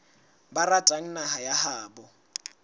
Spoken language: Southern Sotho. ba ratang naha ya habo